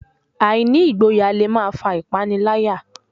Àìní ìgboyà le máa fà ìpániláyà